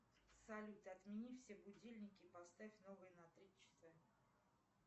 салют отмени все будильники и поставь новые на три часа